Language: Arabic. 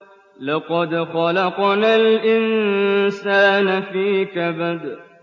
لَقَدْ خَلَقْنَا الْإِنسَانَ فِي كَبَدٍ